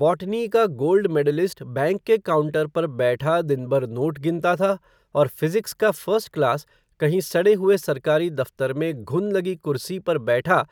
botany का gold medallist, bank के counter पर बैठा, दिन भर नोट गिनता था, और फ़िज़िक्स का फ़र्स्ट क्लास, कहीं सडे हुए सरकारी दफ़्तर में, घुन लगी कुर्सी पर बैठा,